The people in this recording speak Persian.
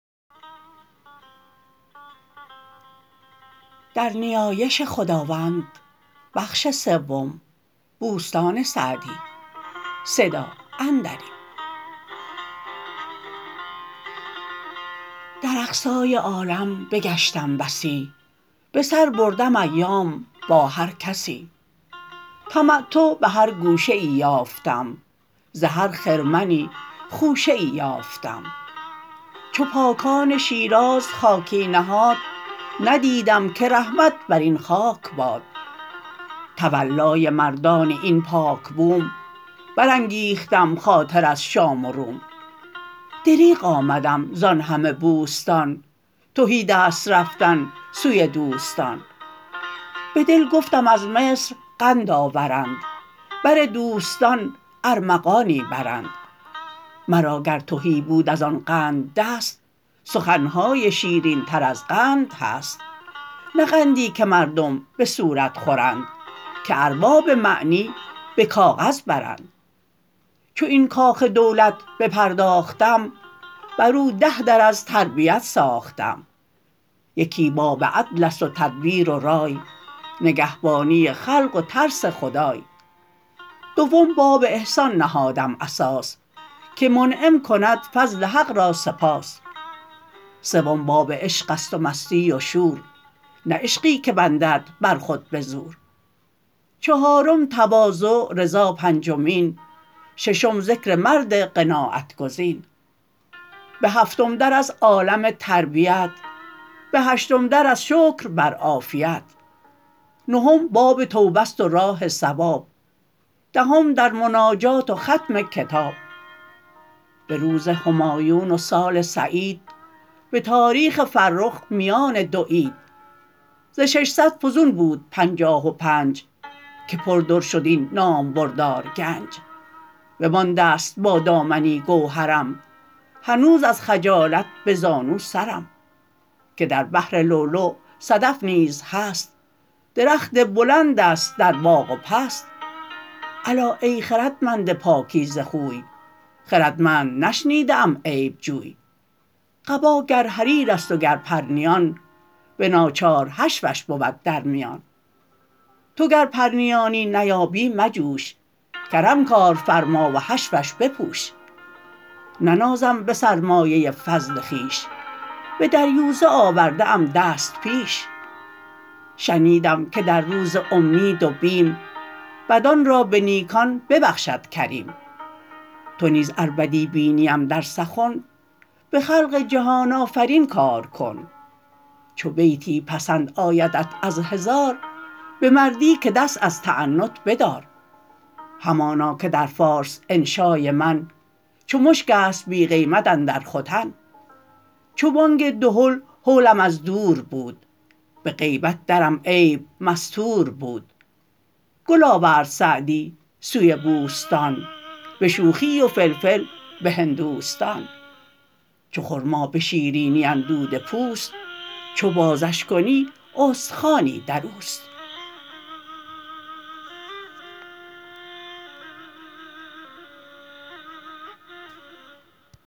در اقصای عالم بگشتم بسی به سر بردم ایام با هر کسی تمتع به هر گوشه ای یافتم ز هر خرمنی خوشه ای یافتم چو پاکان شیراز خاکی نهاد ندیدم که رحمت بر این خاک باد تولای مردان این پاک بوم برانگیختم خاطر از شام و روم دریغ آمدم زآن همه بوستان تهیدست رفتن سوی دوستان به دل گفتم از مصر قند آورند بر دوستان ارمغانی برند مرا گر تهی بود از آن قند دست سخن های شیرین تر از قند هست نه قندی که مردم به صورت خورند که ارباب معنی به کاغذ برند چو این کاخ دولت بپرداختم بر او ده در از تربیت ساختم یکی باب عدل است و تدبیر و رای نگهبانی خلق و ترس خدای دوم باب احسان نهادم اساس که منعم کند فضل حق را سپاس سوم باب عشق است و مستی و شور نه عشقی که بندند بر خود بزور چهارم تواضع رضا پنجمین ششم ذکر مرد قناعت گزین به هفتم در از عالم تربیت به هشتم در از شکر بر عافیت نهم باب توبه است و راه صواب دهم در مناجات و ختم کتاب به روز همایون و سال سعید به تاریخ فرخ میان دو عید ز ششصد فزون بود پنجاه و پنج که پر در شد این نامبردار گنج بمانده ست با دامنی گوهرم هنوز از خجالت به زانو سرم که در بحر لؤلؤ صدف نیز هست درخت بلند است در باغ و پست الا ای خردمند پاکیزه خوی خردمند نشنیده ام عیب جوی قبا گر حریر است و گر پرنیان به ناچار حشوش بود در میان تو گر پرنیانی نیابی مجوش کرم کار فرما و حشوش بپوش ننازم به سرمایه فضل خویش به دریوزه آورده ام دست پیش شنیدم که در روز امید و بیم بدان را به نیکان ببخشد کریم تو نیز ار بدی بینیم در سخن به خلق جهان آفرین کار کن چو بیتی پسند آیدت از هزار به مردی که دست از تعنت بدار همانا که در فارس انشای من چو مشک است بی قیمت اندر ختن چو بانگ دهل هولم از دور بود به غیبت درم عیب مستور بود گل آورد سعدی سوی بوستان به شوخی و فلفل به هندوستان چو خرما به شیرینی اندوده پوست چو بازش کنی استخوانی در اوست